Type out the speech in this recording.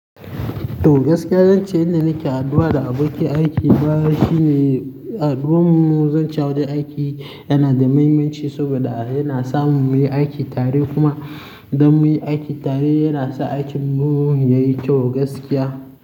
To gaskiya, zan ce inda nake haduwa da abokin aiki na shi ne, hdduwan mu, zan ce a wajen aiki yana da mahimmanci saboda yana sa mumuyi aiki tare kuma idan munyi aiki tare yana sa aikin mu yayi kyau gaskiya.